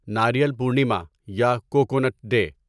ناریل پورنیما یا coconut day